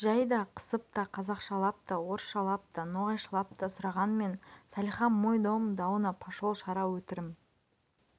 жай да қысып та қазақшылап та орысшылап та ноғайшылап та сұрағанмен салиха мой дом дауна пошол шара өтірім